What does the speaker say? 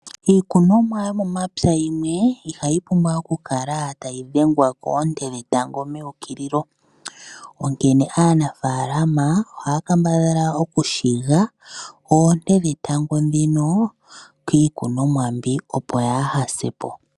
Iikunomwa yomomapya yimwe ihayi pumbwa okukala tayi dhengwa koonte dhetango meukililo onkene aanafaalama ohaya kambadhala okushiga oonte dhetango dhino kiikunomwa mbika opo yahasa po.